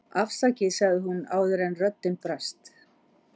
afsakið, sagði hún áður en röddin brast.